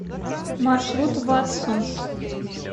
маршрут ватсонс